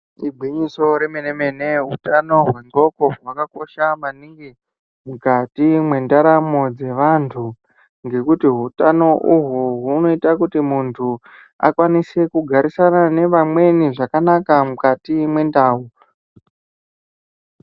Igwinyiso remene mene utano hwehlondo hwakakosha maningi mukati mendaramo dzevanhu ngekuti utano ihwo hunoita kuti vanhu vakome kugarisana ngevamweni zvakanaka mukati mendau.